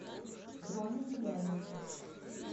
дроне белянине